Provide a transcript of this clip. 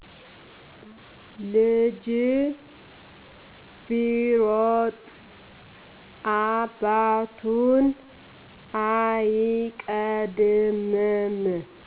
ልጅ ቢሮጥ አባቱን አይቀድምም